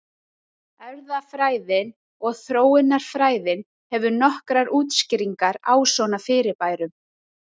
Erfðafræðin og þróunarfræðin hefur nokkrar útskýringar á svona fyrirbærum.